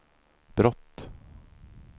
brott